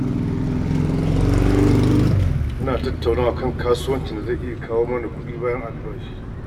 Muna tattaunawa kan kasuwancin da zai iya kawo mana kuɗi bayan albashi.